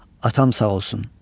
Atam sağ olsun.